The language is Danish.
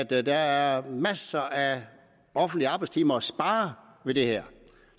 at der er masser af offentlige arbejdstimer at spare ved det her